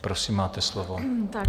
Prosím, máte slovo.